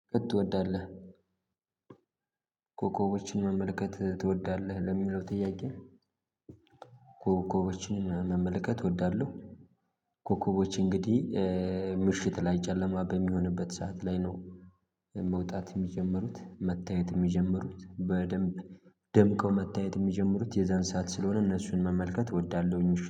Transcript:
ትወዳለህ ኮኮቦችን መመልከት ትወዳለህ ለሚለው ጥያቄ ኮኮቦችን መመልከት እወዳለሁ። ኮከቦች እንግዲህ ምሽት ላይ ጨለማ በሚሆንበት ሰዓት ላይ ነው። መውጣት የሚጀምሩት መታየት የሚጀምሩት በደንብ ደምቀው መታየት የሚጀምሩት የዛን ሰዓት ስለሆነ እነሱን መመልከት እወዳለሁ